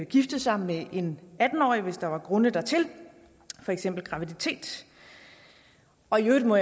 gifte sig med en atten årig hvis der var grunde dertil for eksempel graviditet og jeg må